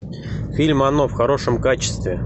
фильм оно в хорошем качестве